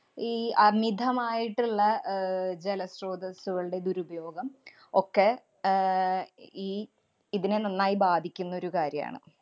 ഈ അമിതമായിട്ടുള്ള അഹ് ജലസ്രോതസ്സുകളുടെ ദുരുപയോഗം ഒക്കെ ആഹ് ഈ ഇതിനെ നന്നായി ബാധിക്കുന്നൊരു കാര്യാണ്.